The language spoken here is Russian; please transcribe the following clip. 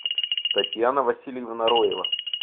татьяна васильевна роева